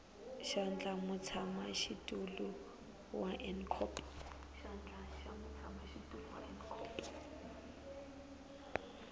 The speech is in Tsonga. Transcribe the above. xandla xa mutshamaxitulu wa ncop